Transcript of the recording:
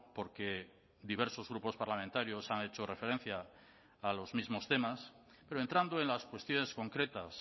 porque diversos grupos parlamentarios han hecho referencia a los mismos temas pero entrando en las cuestiones concretas